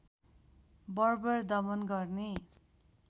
बर्बर दमन गर्ने